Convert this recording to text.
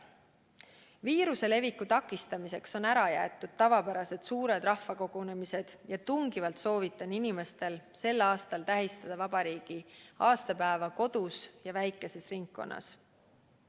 Viiruse leviku takistamiseks on ära jäetud tavapärased suured rahvakogunemised ja tungivalt soovitan inimestel sel aastal tähistada vabariigi aastapäeva kodus ja väikeses ringis.